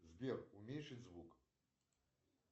сбер уменьшить звук